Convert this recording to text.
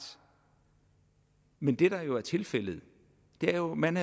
men det der er tilfældet er jo at man